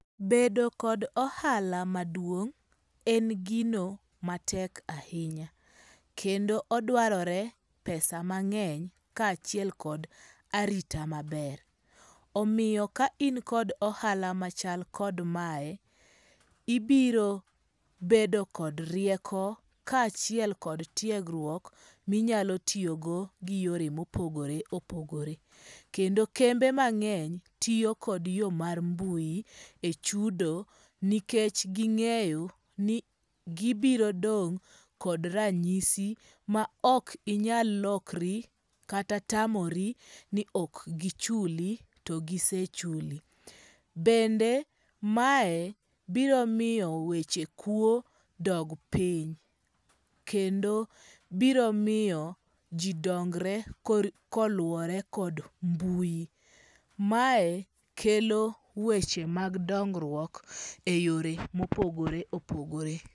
Bedo kod ohala maduong,' en gino matek ahinya kendo odwarore pesa mangeny kachiel kod arita maber, omiyo ka in kod ohala machal kod kamae, ibiro bedo kod rieko kaa achiel kod tiegruok minyalo tiyogo gi yore ma opogore opogore, kendo kembe mangeny tiyo kod yo mar mbui e chudo nikech gingeyo ni gibiro dong' kod ranyisi ma ok inyal lokri kata tamori ni ok gichuli to gisechuli, bende mae biro miyo weche kuo dog piny kendo biro miyo ji dongre koluwore kod mbui mae kelo weche mag dongruok e yore ma opogore opogore.